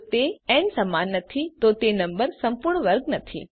જો તે ન સમાન નથી તો તે નંબર સંપૂર્ણ વર્ગ નથી